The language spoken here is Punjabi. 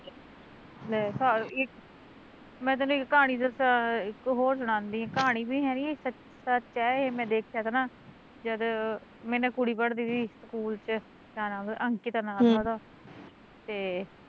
ਮੈਂ ਤੇਨੂੰ ਇੱਕ ਕਹਾਣੀ ਦੱਸਾਂ, ਇੱਕ ਹੋਰ ਸੁਣਾਉਂਦੀ ਕਹਾਣੀ ਵੀ ਹੈਨੀ ਸੱਚ ਐ ਏਹ ਮੈਂ ਦੇਖਿਆ ਤਾ ਨਾ, ਜਦ ਮੇਰੇ ਨਾਲ਼ ਕੁੜੀ ਪੜਦੀ ਤੀ, ਸਕੂਲ ਚ ਕਿਆ ਨਾਮ ਤਾ ਓਦਾ ਅੰਕਿਤਾ ਨਾਮ ਤਾ ਉਦਾ ਹਮ ਤੇ